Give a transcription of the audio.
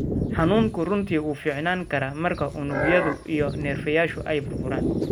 Xanuunku runtii wuu fiicnaan karaa marka unugyadu iyo neerfayaashu ay burburaan.